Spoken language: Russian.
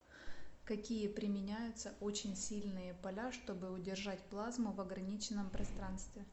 какие применяются очень сильные поля чтобы удержать плазму в ограниченном пространстве